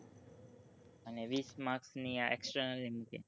અને વીશ marks ની આ external મુકે